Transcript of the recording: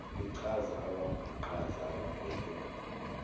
lichaza abambiqhaza ababheke